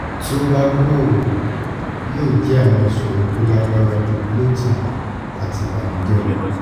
ti o ba gbooro yoo jẹ awọn iṣoro to lagbara ju bloating ati ibanujẹ lọ